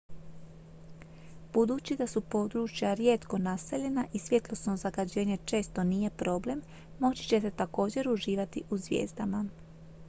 budući da su područja rijetko naseljena i svjetlosno zagađenje često nije problem moći ćete također uživati u zvijezdama